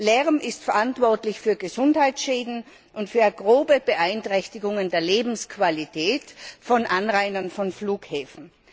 Lärm ist verantwortlich für Gesundheitsschäden und für grobe Beeinträchtigungen der Lebensqualität von Anrainern von Flughäfen.